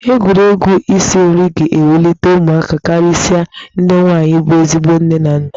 Egwuregwu isi nri ga-ewulite ụmụaka karịsịa ndị nwaanyi ịbụ ezigbo nne na nna.